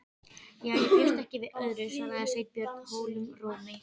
Já, ég bjóst ekki við öðru- svaraði Sveinbjörn holum rómi.